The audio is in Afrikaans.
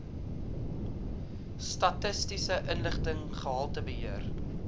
statistiese inligting gehaltebeheer